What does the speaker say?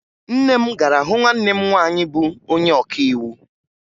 Nne m gara hụ nwanne m nwaanyị bụ onye ọkaiwu